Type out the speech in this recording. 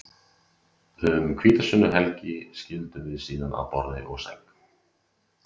Um hvítasunnuhelgina skildum við síðan að borði og sæng.